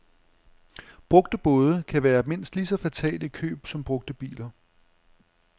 Brugte både kan være mindst lige så fatale i køb som brugte biler.